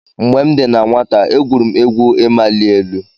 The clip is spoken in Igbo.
Mgbe m dị na nwata, e gwuru m egwu ịmali elu.